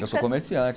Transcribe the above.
Eu sou comerciante.